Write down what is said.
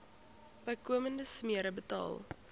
bykomende smere betaal